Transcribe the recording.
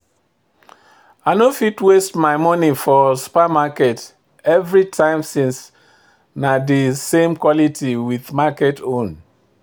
I no fit waste my money for supermarket everytime since na de same quality with market own.